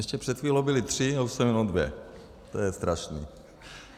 Ještě před chvílí byly tři, a už jsou jenom dvě, to je strašný.